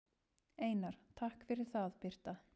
Einar: Takk fyrir það Birta.